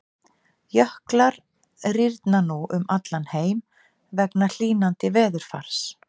Jöklar rýrna nú um allan heim vegna hlýnandi veðurfars.